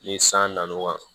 Ni san nana kan